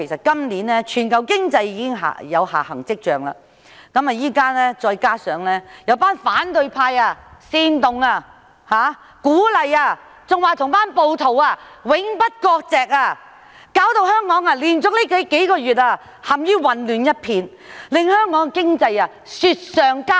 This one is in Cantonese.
今年全球經濟已有下行跡象，再加上現在有反對派煽動、鼓勵甚至表示與那些暴徒永不割席，導致香港連續數月陷於一片混亂，經濟雪上加霜。